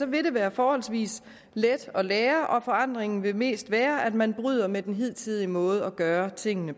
vil det være forholdsvis let at lære og forandringen vil mest være at man bryder med den hidtidige måde at gøre tingene